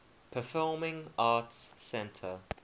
performing arts center